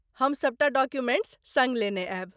हम सबटा डॉक्युमेंट्स सङ्ग लेने आयब।